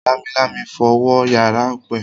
Lámilámi fo wọ yàrá Ope.